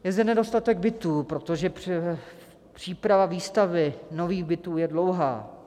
Je zde nedostatek bytů, protože příprava výstavby nových bytů je dlouhá.